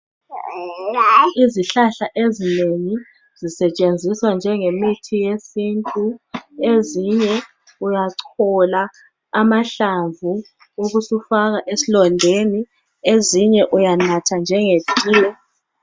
Izihlahla ezinengi sisetshenziswa njenge mithi yesintu. Ezinye uyachola amahlamvu ubusufaka esilondeni. Ezinye uyanatha njenge tiye